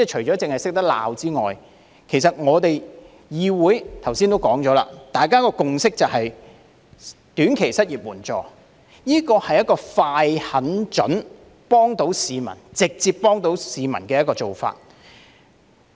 正如剛才指出，議會的共識就是設立短期失業援助，這是一個"快、狠、準、幫到市民"——是直接幫到市民——的做法。